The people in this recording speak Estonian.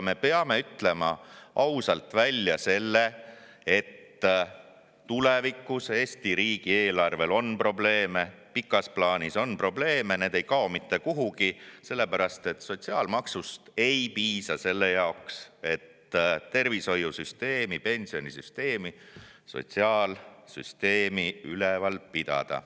Me peame ütlema ausalt välja, et tulevikus on Eesti riigi eelarvel probleeme, pikas plaanis on probleeme, need ei kao mitte kuhugi, sest sotsiaalmaksust ei piisa selle jaoks, et tervishoiusüsteemi, pensionisüsteemi, sotsiaalsüsteemi üleval pidada.